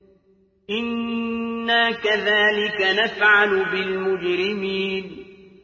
إِنَّا كَذَٰلِكَ نَفْعَلُ بِالْمُجْرِمِينَ